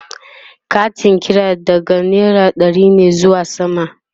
Katin kira daga naira ɗari ne zuwa sama